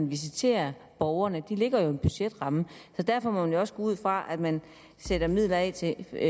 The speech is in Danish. visitere borgerne det ligger jo i en budgetramme derfor må man også gå ud fra at man sætter midler af til